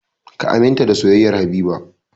Ka aminta da soyayyar Habiba!